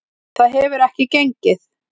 Það hefur ekki gengið.